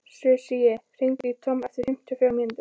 Susie, hringdu í Tom eftir fimmtíu og fjórar mínútur.